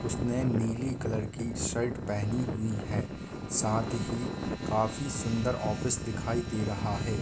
उसने नीली कलर की शर्ट पहनी हुई है । साथ ही काफी सुंदर ऑफिस दिखाई दे रहा है ।